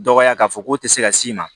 Dɔgɔya k'a fɔ k'o tɛ se ka s'i ma